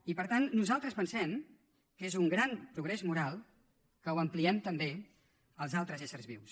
i per tant nosaltres pensem que és un gran progrés moral que ho ampliem també als altres éssers vius